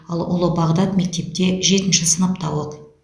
ал ұлы бағдат мектепте жетінші сыныпта оқиды